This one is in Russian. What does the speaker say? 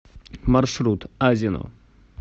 маршрут азино